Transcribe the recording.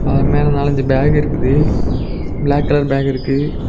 அவர் மேல நாளஞ்சு பேக் இருக்குது ப்ளாக் கலர் பேக் இருக்கு.